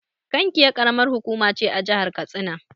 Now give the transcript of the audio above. Kankia Ƙaramar hukuma ce a jahar katsina.